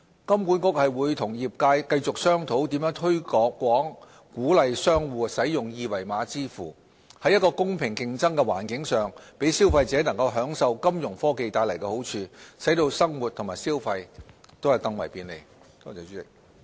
金管局會與業界繼續商討如何推廣鼓勵商戶使用二維碼支付，在一個公平競爭的環境上，讓消費者能享受金融科技帶來的好處，使生活和消費更為便利。